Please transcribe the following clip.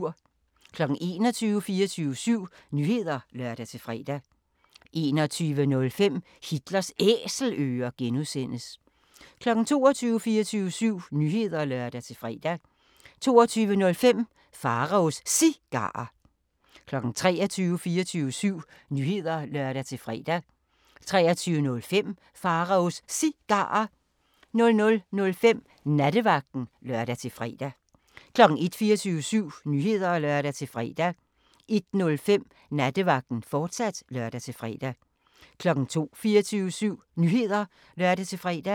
21:00: 24syv Nyheder (lør-fre) 21:05: Hitlers Æselører (G) 22:00: 24syv Nyheder (lør-fre) 22:05: Pharaos Cigarer 23:00: 24syv Nyheder (lør-fre) 23:05: Pharaos Cigarer 00:05: Nattevagten (lør-fre) 01:00: 24syv Nyheder (lør-fre) 01:05: Nattevagten, fortsat (lør-fre) 02:00: 24syv Nyheder (lør-fre)